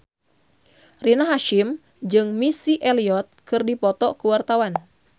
Rina Hasyim jeung Missy Elliott keur dipoto ku wartawan